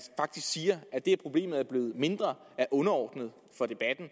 faktisk siger at det at problemet er blevet mindre er underordnet for debatten